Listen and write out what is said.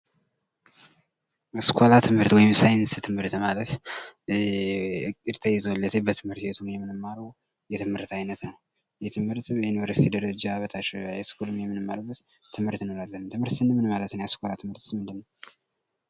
አስኳላ ትምህርት ወይም ሳይንስ ትምህርት ማለት እቅድ ተይዞለት በትምህርት ቤቱ የምንማረዉ የትምህርት አይነት ነዉ። ይህ ትምህርት በዩኒቨርስቲ ደረጃ በታች ሃያ ስኩል የምንማርበት ትምህርት እንለዋለን። ትምህርት ስንል ምን ማለት ነዉ? የአስኳላ ትምህርትስ ምንድን ነዉ?